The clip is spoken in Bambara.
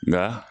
Nka